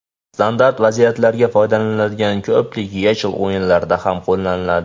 Standart vaziyatlarda foydalaniladigan ko‘pik YeChL o‘yinlarida ham qo‘llaniladi.